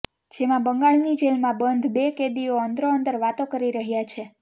જેમાં બંગાળની જેલમાં બંધ બે કેદીઓ અંદરોઅંદર વાતો કરી રહ્યાં છે